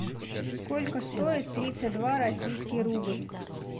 сколько стоит тридцать два российский рубль